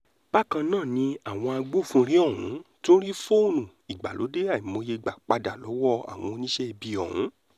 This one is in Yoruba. bákan náà ni àwọn agbófinró ọ̀hún tún rí fóònù ìgbàlódé àìmọye gbà padà lọ́wọ́ àwọn oníṣẹ́ ibi ọ̀hún